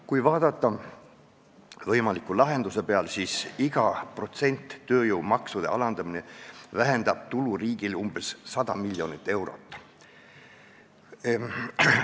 Kui vaadata võimaliku lahenduse peale, siis iga protsent tööjõumaksude alandamist vähendab riigi tulu umbes 100 miljonit eurot.